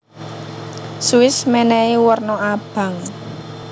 Swiss menehi werna abang